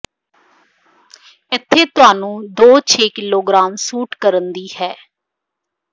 ਇੱਥੇ ਤੁਹਾਨੂੰ ਦੋ ਛੇ ਕਿਲੋਗ੍ਰਾਮ ਸੁੱਟ ਕਰਨ ਦੀ ਹੈ